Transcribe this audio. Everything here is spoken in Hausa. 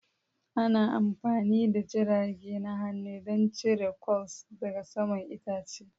Ana amfani da jirage na hannu don cire curls daga saman itace.